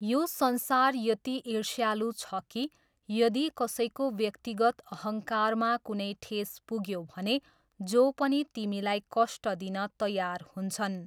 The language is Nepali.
यो संसार यति ईर्ष्यालु छ कि यदि कसैको व्यक्तिगत अहङ्कारमा कुनै ठेस पुग्यो भने जो पनि तिमीलाई कष्ट दिन तयार हुन्छन्।